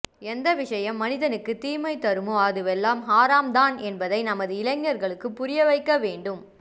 எந்த விஷயம் மனிதனுக்கு தீமை தருமோ அதுவெல்லாம் ஹராம்தான் என்பதை நமது இளைஞர்களுக்கு புரியவைக்க வேண்டும்